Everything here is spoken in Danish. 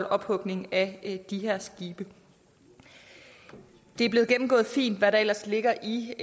ophugning af de her skibe det er blevet gennemgået fint hvad der ellers ligger i